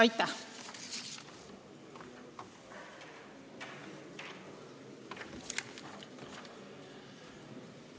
Aitäh!